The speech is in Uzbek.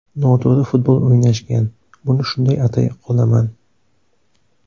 Noto‘g‘ri futbol o‘ynashgan, buni shunday atay qolaman.